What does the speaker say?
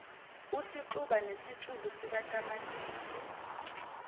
usixuba nesitshulu sikatamatisi